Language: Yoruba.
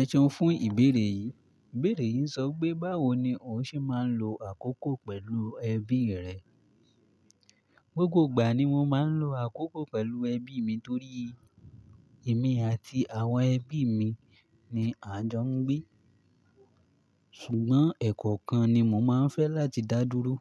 Ẹseun fún ìbéèrè yìí. Ìbéèrè yìí ń sọ wipé báwo ni o ṣe máa ń lo àkókò pẹ̀lú ẹbí rẹ. Gbogbo ìgbà ni mo máa ń lo àkókò pẹ̀lú ẹbí mi torí èmi àti àwọn ẹbí mi ni à ń jọ ń gbé. Ṣùgbọ́n ẹ̀kọ́okan ni mo máa ń fẹ́ láti dá dúró.